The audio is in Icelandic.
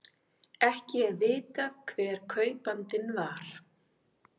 Ekki er vitað hver kaupandinn var